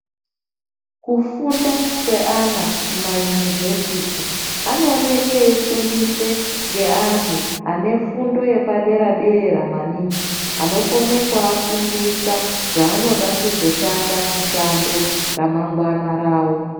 Kufunda kweana kumaunivhesiti anooke veifundiswe geantu anefundu yepadera dera maningi anokone kuafundisa zvaanoda kuzoshanda mishando ramangwana ravo.